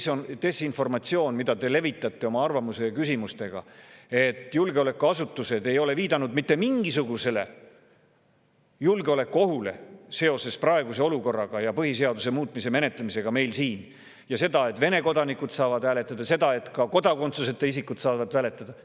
See on desinformatsioon, mida te levitate oma arvamuste ja küsimustega, nagu julgeolekuasutused ei oleks viidanud mitte mingisugusele julgeolekuohule seoses praeguse olukorraga ja põhiseaduse muutmise menetlemisega meil siin, või seoses sellega, et Vene kodanikud saavad hääletada ning et ka kodakondsuseta isikud saavad hääletada.